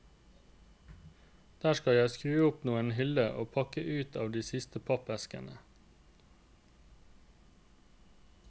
Der skal jeg skru opp noen hyller og pakke ut av de siste pappeskene.